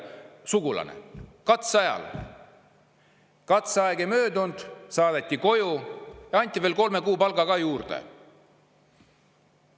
Katseaeg, inimene saadeti koju ja anti veel kolme kuu palk ka kaasa.